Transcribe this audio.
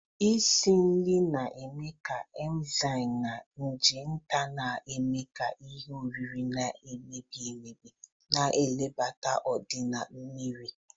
Isi nri na-eme ka enizamu na nje nta na-eme ka ihe oriri na-emebi emebi, na-ebelata ọdịnaya mmiri.